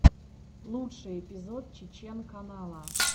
лучший эпизод чечен канала